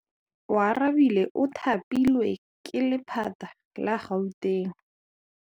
Oarabile o thapilwe ke lephata la Gauteng.